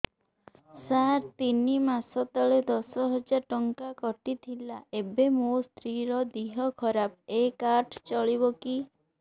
ସାର ତିନି ମାସ ତଳେ ଦଶ ହଜାର ଟଙ୍କା କଟି ଥିଲା ଏବେ ମୋ ସ୍ତ୍ରୀ ର ଦିହ ଖରାପ ଏ କାର୍ଡ ଚଳିବକି